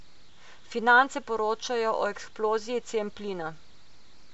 Finance poročajo o eksploziji cen plina.